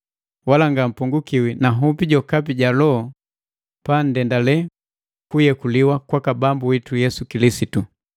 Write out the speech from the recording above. wala ngampongukiwi na hupi jokapi ja loho pa nndendale kuyekuliwa kwaki Bambu witu Yesu Kilisitu.